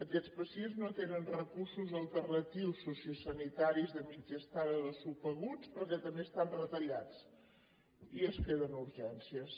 aquests pacients no tenen recursos alternatius sociosanitaris de mitja estada de subaguts perquè també estan retallats i es queden a urgències